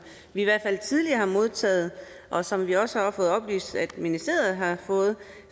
vi i hvert fald tidligere har modtaget og som vi også har fået oplyst ministeriet har fået